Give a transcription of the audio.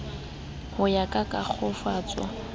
ho ya ka ka kglofalo